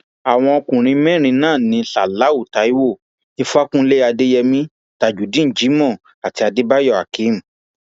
àwọn ọkùnrin mẹrin náà ní ṣáláú taiwo ìfàkúnlẹ adéyèmí tajudeen jimoh àti adébáyò akeem